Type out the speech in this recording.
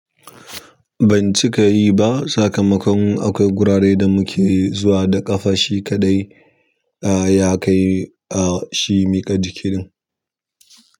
Banci ka yi ba, sakamakon akwai gurare da muke zuwa da ƙafa shi kaɗai ya kai a shi miƙa jikinin.